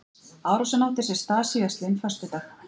Árásin átti sér stað síðastliðinn föstudag